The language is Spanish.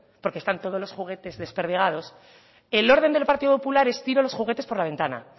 porque están todos los juguetes desperdigados el orden del partido popular es tiro los juguetes por la ventana